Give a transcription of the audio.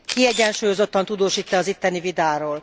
Kiegyensúlyozottan tudósít e az itteni vitáról?